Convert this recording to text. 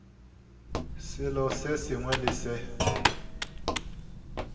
selo se sengwe le se